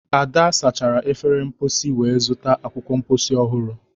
ada sachara efere mposi wee zụta akwụkwọ mposi ọhụrụ